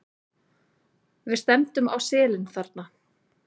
Við stefndum á selin þarna.